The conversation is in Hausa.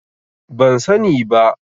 Ban sani ba.